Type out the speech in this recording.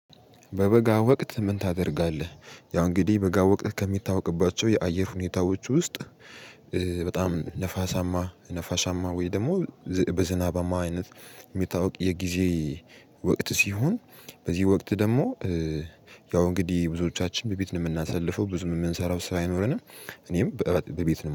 በበጋ ወቅት ምን ታደርጋለህ? ያው እንግዲህ በጋ ወቅት ከሚታወቅባቸው የአየር ሁኔታዎች ውስጥ በጣም ንፋሳማ ነፋሻማ ወይም ደግሞ በዝናባማ አይነት የሚታወቅ የጊዜ ወቅት ሲሆን። በዚህ ወቅት ደግሞ ያው እንግዲህ ብዙዎቻችን በቤት ነው የምናሳልፈው ብዙም የምንሰራው ስራ አይኖረንም። እኔም በቤት